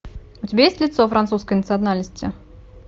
у тебя есть лицо французской национальности